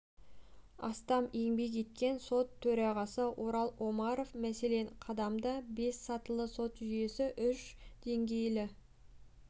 астам еңбек еткен сот төрағасы орал омаров мәселен қадамда бес сатылы сот жүйесі үш деңгейлі